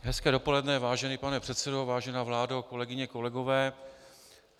Hezké dopoledne, vážený pane předsedo, vážená vládo, kolegyně, kolegové.